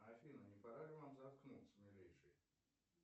афина не пора ли вам заткнуться милейший